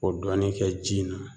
O dɔɔnin kɛ ji in na